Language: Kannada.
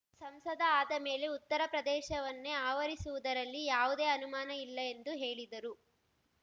ಸಂಸದ ಆದ ಮೇಲೆ ಉತ್ತರ ಪ್ರದೇಶವನ್ನೇ ಆವರಿಸುವುದರಲ್ಲಿ ಯಾವುದೇ ಅನುಮಾನ ಇಲ್ಲ ಎಂದು ಹೇಳಿದರು